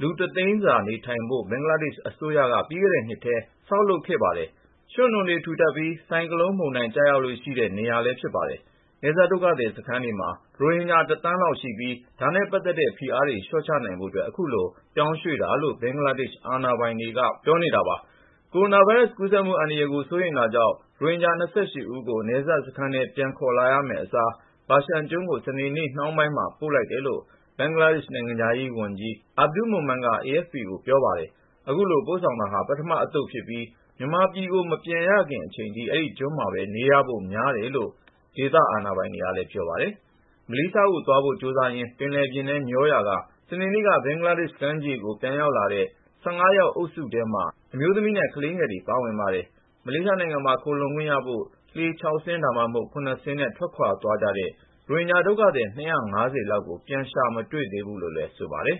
လူတသိန်းစာ နေထိုင်နိုင်ဖို့ ဘင်္ဂလားဒေ့ရှ် အစိုးရက ပြီးခဲ့တဲ့နှစ်ထဲ ဆောက်လုပ်ခဲ့ပါတယ်။ ရွှံ့နွ ံတွေထူထပ်ပြီး ဆိုင်ကလုန်းမုန်တိုင်း ကျရောက်လေ့ရှိတဲ့ နေရာလည်း ဖြစ်ပါတယ်။ နယ်စပ် ဒုက္ခသည်စခန်းတွေမှာ ရိုဟင်ဂျာ တသန်းလောက်ရှိပြီး ဒါနဲ့ပတ်သက်တဲ့ ဖိအားတွေ လျှော့ချနိုင်ဖို့ အခုလို ပြောင်းရွှေ့တာပါလို့ ဘင်္ဂလားဒေ့ရှ် တာဝန်ရှိသူတွေက ပြောတာပါ။ ကိုရိုနာဗိုင်းရပ်စ် ကူးစက်မှုအန္တရာယ်ကို စိုးရိမ်တာကြောင့် ရိုဟင်ဂျာ ၂၈ ဦးကို နယ်စပ်စခန်းထဲ ပြန်ခေါ်လာမယ့်အစား Bhashan ကျွန်းကို စနေနေ့ နှောင်းပိုင်းမှာ ပို့လိုက်တယ်လို့ ဘင်္ဂလားဒေ့ရှ် နိုင်ငံခြားရေးဝန်ကြီး Abdul Momen က AFP ကို ပြောပါတယ်။ အခုလို ပို့ဆောင်တာဟာ ပထမအသုတ်ဖြစ်ပြီး မြန်မာပြည်ကို မပြန်ရခင်အချိန်ထိ အဲဒီကျွန်းမှာပဲ နေရဖို့များတယ်လို့ ဒေသအာဏာပိုင်တွေက ပြောပါတယ်။ မလေးရှားကိုသွားဖို့ကြိုးစားရင်း ပင်လယ်ထဲ မျောနေရာက စနေနေ့က ဘင်္ဂလားကမ်းခြေကို ပြန်ရောက်လာတဲ့အထဲမှာ အမျိုးသမီး ၁၅ ယောက်နဲ့ ကလေးငယ် ၅ ဦး ပါဝင်ပါတယ်။ မလေးရှားနိုင်ငံမှာ ခိုလှုံခွင့်ရဖို့ လှေ ၆ စင်း ဒါမှမဟုတ် ၇ စင်းနဲ့ ထွက်ခွာသွားကြတဲ့ ရိုဟင်ဂျာ ဒုက္ခသည် ၂၅၀ လောက်ကိုတော့ ပြန်ရှာမတွေ့သေးဘူးလို့ ဆိုပါတယ်